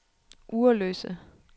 Ugerløse